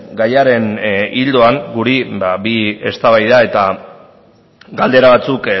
gaiaren ildoan guri bi eztabaida eta galdera batzuk